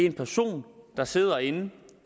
en person der sidder inde